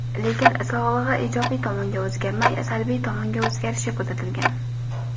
Lekin, sog‘lig‘i ijobiy tomonga o‘zgarmay, salbiy tomonga o‘zgarishi kuzatilgan.